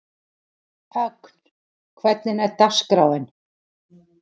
Ögn, hvernig er dagskráin?